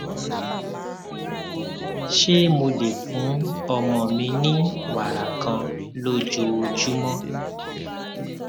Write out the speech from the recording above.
ṣé mo lè fún ọmọ mi ní wàrà kan lójoojúmó